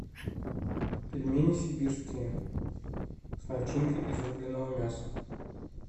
пельмени сибирские с начинкой из рубленного мяса